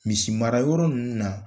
Misi mara yɔrɔ ninnu na.